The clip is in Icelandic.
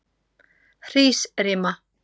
Hrísrima